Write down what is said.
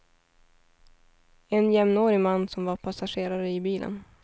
En jämnårig man som var passagerare i bilen.